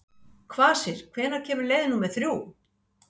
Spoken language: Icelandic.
Kvasir, hvenær kemur leið númer þrjú?